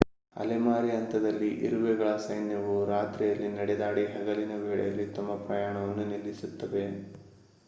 ಅಲೆಮಾರಿ ಹಂತದಲ್ಲಿ ಇರುವೆಗಳ ಸೈನ್ಯವು ರಾತ್ರಿಯಲ್ಲಿ ನಡೆದಾಡಿ ಹಗಲಿನ ವೇಳೆಯಲ್ಲಿ ತಮ್ಮ ಪ್ರಯಾಣವನ್ನು ನಿಲ್ಲಿಸುತ್ತವೆ